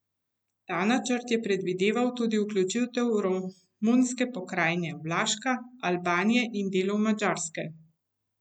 Ta načrt je predvideval tudi vključitev romunske pokrajine Vlaška, Albanije in delov Madžarske.